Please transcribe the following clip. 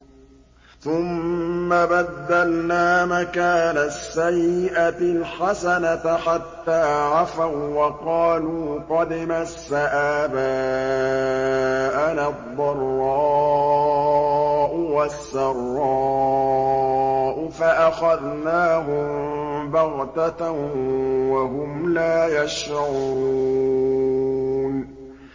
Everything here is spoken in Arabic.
ثُمَّ بَدَّلْنَا مَكَانَ السَّيِّئَةِ الْحَسَنَةَ حَتَّىٰ عَفَوا وَّقَالُوا قَدْ مَسَّ آبَاءَنَا الضَّرَّاءُ وَالسَّرَّاءُ فَأَخَذْنَاهُم بَغْتَةً وَهُمْ لَا يَشْعُرُونَ